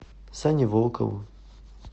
сане волкову